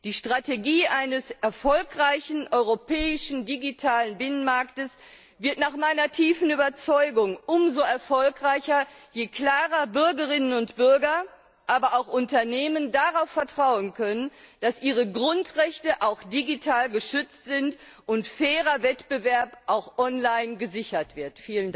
Die Strategie eines erfolgreichen Europäischen Digitalen Binnenmarkts wird nach meiner tiefen Überzeugung umso erfolgreicher, je klarer Bürgerinnen und Bürger, aber auch Unternehmen darauf vertrauen können, dass ihre Grundrechte auch digital geschützt sind und fairer Wettbewerb auch online gesichert wird.